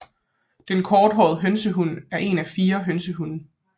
Den Korthåret hønsehund er en af fire hønsehund